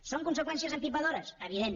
són conseqüències empipadores evident